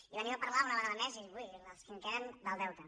i venim a parlar una vegada més i ui les que en queden del deute